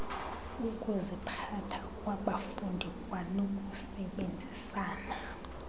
ukuziphatha kwabafundi kwanokusebenzisana